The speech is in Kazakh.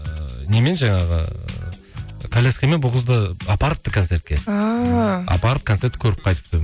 ыыы немен жаңағы коляскімен бұл қызды апарыпты концертке ааа апарып концертті көріп қайтыпты